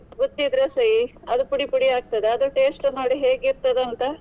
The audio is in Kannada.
ಗುದ್ದಿದ್ರೆ ಸೈ ಅದು ಪುಡಿ ಪುಡಿ ಆಗ್ತದೆ ಅದು taste ನೋಡಿ ಹೇಗಿರ್ತದೆ ಅಂತ.